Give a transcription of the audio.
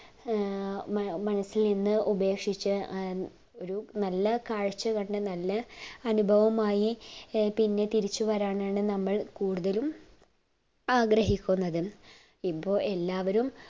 ഏർ മനസ്സീന് ഉപേക്ഷിച്ചു ഒരു നല്ല കാഴ്ച്ച കണ്ട് നല്ല അനുഭവമായി ഏർ പിന്നെ തിരിച്ചു വരാനാണ് നമ്മൾ കൂടുതലും ആഗ്രഹിക്കുന്നത് ഇപ്പൊ എല്ലാവരും